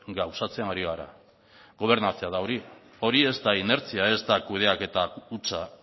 gauzatzen ari gara gobernatze da hori hori ez da inertzia ez da kudeaketa hutsa